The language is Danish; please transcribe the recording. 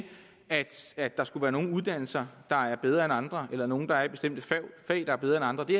at at der skulle være nogle uddannelser der er bedre end andre eller at nogle der er i bestemte fag er bedre end andre det